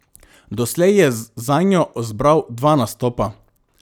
Doslej je zanjo zbral dva nastopa.